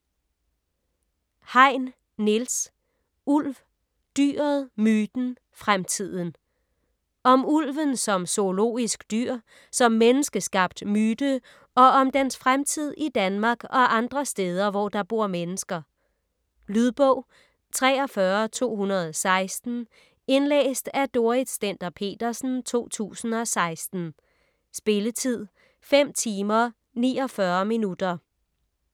Hein, Niels: Ulv: dyret, myten, fremtiden Om ulven som zoologisk dyr, som menneskeskabt myte og om dens fremtid i Danmark og andre steder, hvor der bor mennesker. Lydbog 43216 Indlæst af Dorrit Stender-Petersen, 2016. Spilletid: 5 timer, 49 minutter.